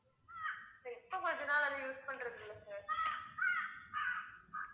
இப்ப கொஞ்ச நாள், அதை use பண்றது இல்லை sir